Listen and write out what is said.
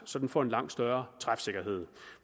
så det får en langt større træfsikkerhed